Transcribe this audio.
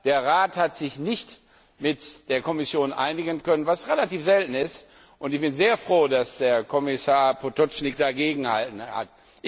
Der Rat hat sich nicht mit der Kommission einigen können, was relativ selten ist, und ich bin sehr froh, dass Kommissar Potočnik dagegengehalten hat.